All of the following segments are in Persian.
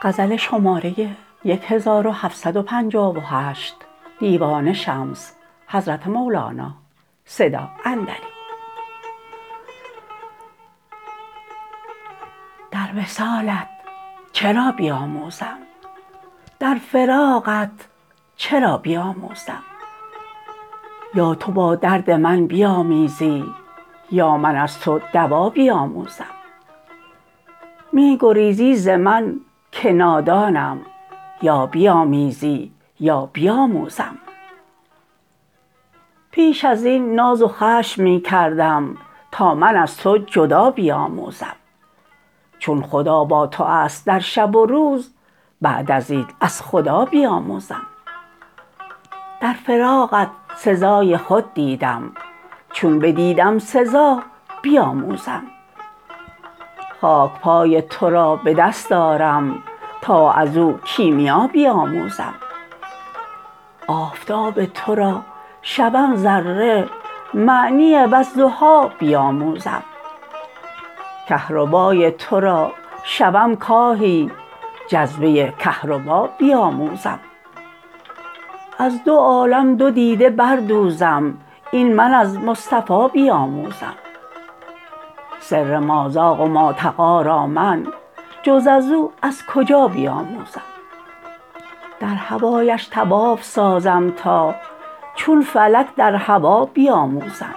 در وصالت چه را بیاموزم در فراقت چه را بیاموزم یا تو با درد من بیامیزی یا من از تو دوا بیاموزم می گریزی ز من که نادانم یا بیامیز یا بیاموزم پیش از این ناز و خشم می کردم تا من از تو جدا بیاموزم چون خدا با تو است در شب و روز بعد از این از خدا بیاموزم در فراقت سزای خود دیدم چون بدیدم سزا بیاموزم خاک پای تو را به دست آرم تا از او کیمیا بیاموزم آفتاب تو را شوم ذره معنی والضحی بیاموزم کهربای تو را شوم کاهی جذبه کهربا بیاموزم از دو عالم دو دیده بردوزم این من از مصطفی بیاموزم سر مازاغ و ماطغی را من جز از او از کجا بیاموزم در هوایش طواف سازم تا چون فلک در هوا بیاموزم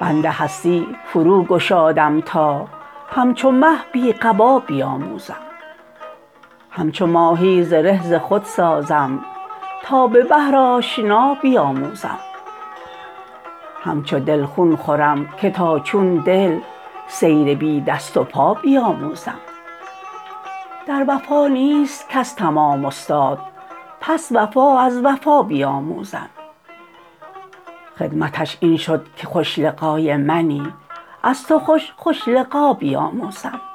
بند هستی فروگشادم تا همچو مه بی قبا بیاموزم همچو ماهی زره ز خود سازم تا به بحر آشنا بیاموزم همچو دل خون خورم که تا چون دل سیر بی دست و پا بیاموزم در وفا نیست کس تمام استاد پس وفا از وفا بیاموزم ختمش این شد که خوش لقای منی از تو خوش خوش لقا بیاموزم